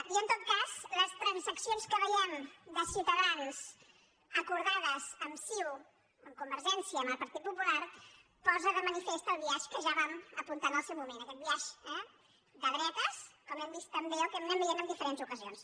i en tot cas les transaccions que veiem de ciutadans acordades amb ciu amb convergència i amb el partit popular posen de manifest el biaix que ja vam apuntar en el seu moment aquest biaix de dre·tes com hem vist també o que anem veient en dife·rents ocasions